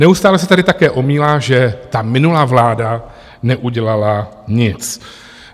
Neustále se tady také omílá, že ta minulá vláda neudělala nic.